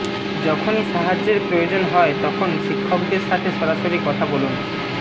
যখনই সাহায্যের প্রয়োজন হয় তখন শিক্ষকদের সাথে সরাসরি কথা বলুন